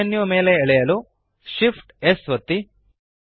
snap menu ಮೇಲೆ ಎಳೆಯಲು Shift amp S ಒತ್ತಿ